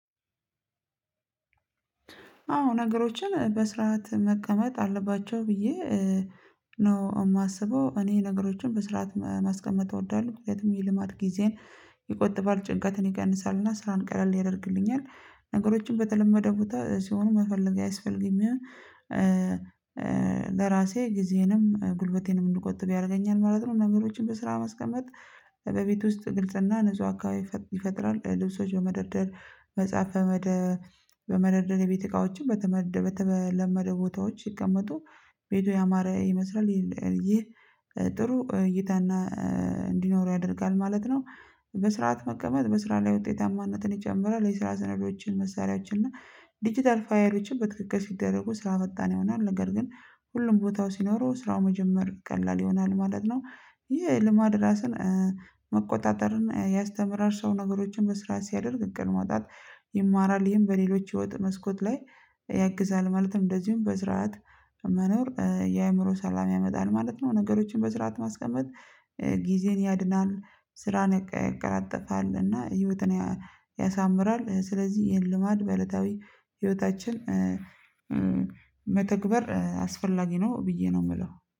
አዎ ነገሮችን በስርዓት መቀመጥ አለባቸው ብዬ ነው የማስበው። እኔ ነገሮችን በስርዓት ማስቀመጥ እወዳለሁ የትም የልማድ ጊዜን ይቆጥባል ጭንቀትን ይቀንሳልና ስራን ቀለል ያደርግልኛል። ነገሮችን በተለመደ ቦታ ሲሆን መፈለግ አያስፈልግም ይሆን ለራሴ ጊዜንም ጉልበቴንም እንድቆጥብ ያደርገኛል ማለት ነው። ነገሮችን በስራ ማስቀመጥ በቤት ውስጥ ግልጽና ንጹህ አካባቢ ይፈጥራል። ልብሶች በመደርደር መጽሐፍ በመ በመደር የቤት እቃዎችን በተለመደው ቦታዎች ሲቀመጡ ቤቱ ያማረ ይመስላል ይሄ ጥሩ እይታና እንዲኖረው ያደርጋል ማለት ነው። በስርዓት መቀመጥ በስራ ላይ ውጤታማነትን ይጨምራል። የስራ ስነዶችን መሳሪያዎችን እና ዲጂታል ፋይሎችን በትክክል ሲደረጉ ስራ ፈጣን ይሆናል ነገር ግን ሁሉም ቦታው ሲኖረው ስራው መጀመር ቀላል ይሆናል ማለት ነው። ይሄ ልማድ ራስን መቆጣጠርን ያስተምራል። ሰው ነገሮችን በስርዓት ሲያደርግ እቅድ ማውጣት ይማራል ይሄን በሌሎች የወጥ መስኮት ላይ ያግዛል። ማለትም እንደዚሁም በስርዓት መኖር የአእምሮ ሰላም ያመጣል ማለት ነው። ነገሮችን በስርዓት ማስቀመጥ ጊዜን ያድናል ስራን ያቀላጥፋል እና ህይወትን ያሳምራል። ስለዚህ ይሄን ልማድ በእለታዊ ህይወታችን መተግበር አስፈላጊ ነው ብዬ ነው የምለው